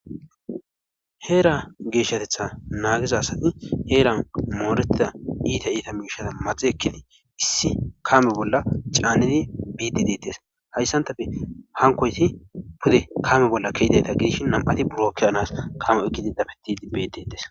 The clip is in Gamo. Heera geeshatetha naagiza asati heeran moorettida miishati maxi ekkidi issi kaame bolla caaniddi biiddi deetes hayssantape hankkoyssi pude aame bolla ke7idayta gidishin ñam7ati buro ke7ana kaame oykki dafettiidi beetettees.